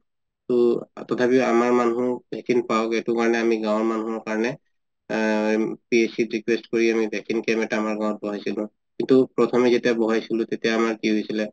ত তথাপিও আমাৰ মানুহ vaccine পাওঁ গে সেইটো কাৰণে আমি গাওঁৰ মানুহৰ কাৰণে আ request কৰি আমি vaccine camp আমাৰ গাওঁত বহাইছিলো ত প্ৰথমে যেতিয়া বহাইছিলো তেতিয়া আমাৰ কি হৈছিলে